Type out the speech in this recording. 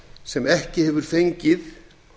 sem ekki hefur fengið